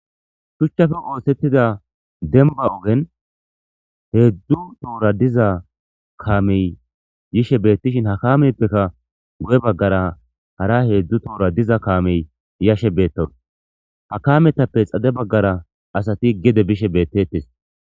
shuchchafe oogen denba ogen heedzdzu toora diza kaamey yishe beettishin ha kaameppekka gu7e baggara hara heedzdzu toora diza kaamey yashe beetton ha kaametappe xade baggara asati gede bishe beettettes